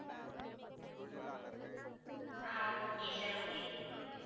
ah okay sir okay